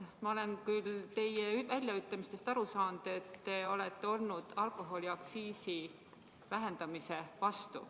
Ma olen küll teie väljaütlemistest aru saanud, et te olete olnud alkoholiaktsiisi vähendamise vastu.